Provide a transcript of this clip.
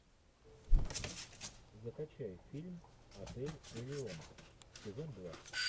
закачай фильм отель элион сезон два